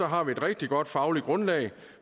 har vi et rigtig godt fagligt grundlag